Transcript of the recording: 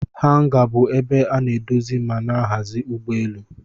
Hanga bu ebe ana edozi mana ahazi ugbọ elụ.